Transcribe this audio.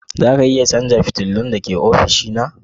Za ka iya canza fitilun da ke ofishina?